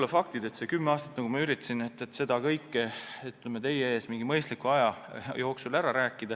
Rääkida siin teie ees ära kõik, mis kümne aasta jooksul on toimunud, mul mingi mõistliku aja jooksul ei õnnestuks.